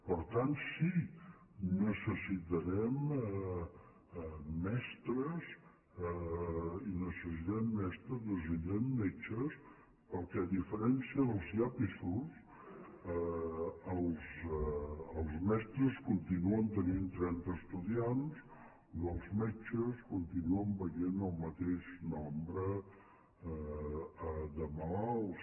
per tant sí necessitarem mestres necessitarem metges perquè a diferència dels llapis els mestres continuen tenint trenta estudiants i els metges continuen veient el mateix nombre de malalts